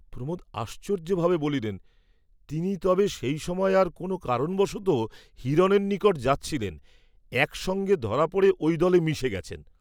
প্রমোদ আশ্চর্য্যভাবে বলিলেন, তিনি তবে সেই সময় আর কোন কারণবশতঃ হিরণের নিকট যাচ্ছিলেন, এক সঙ্গে ধরা পড়ে ঐ দলে মিশে গেছেন।